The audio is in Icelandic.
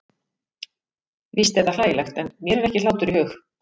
Víst er það hlægilegt, en mér er ekki hlátur í hug.